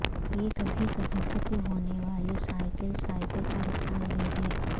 یہ کبھی کبھی ختم ہونے والی سائیکل سائیکل کا حصہ نہیں ہے